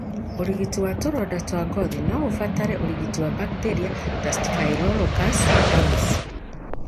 ũrigiti wa tũronda twa ngothi no ũbatare ũrigiti wa bakteria ta Staphylococcus aureus.